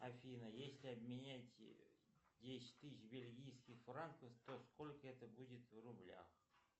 афина если обменять десять тысяч бельгийских франков то сколько это будет в рублях